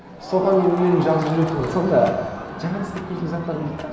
соған мен үнемі жазып жүретінмін сонда ііі жаңадан істеп көретін заттарым дейді де